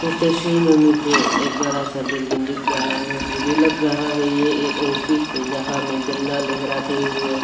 इस तस्वीर में मुझे एक बड़ा सा बिल्डिंग दिख रहा है मुझे लग रहा है यह एक ऑफिस है जहां में झंडा लहराते हुए--